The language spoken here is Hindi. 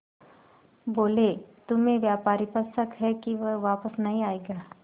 बोले तुम्हें व्यापारी पर शक है कि वह वापस नहीं आएगा